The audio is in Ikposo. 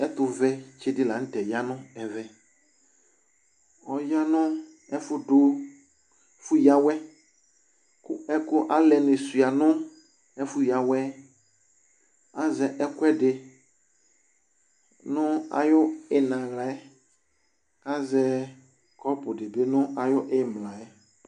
Ɛtuvɛ ditsi lanutɛ ya nu ɛvɛ Ɔya nu ɛfu yawɛ Alɛni sua nu ɛfu yawɛ Azɛ ɛkuɛdi nu ayu iyina wla yɛ kazɛ kɔpu dibi nu ayu imla wla yɛ